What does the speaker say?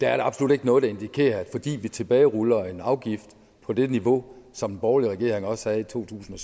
er der absolut ikke noget der indikerer at det fordi vi tilbageruller en afgift på det niveau som den borgerlige regering også havde i to tusind